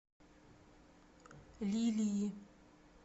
лилии